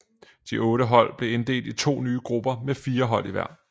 De otte hold blev inddelt i to nye grupper med fire hold i hver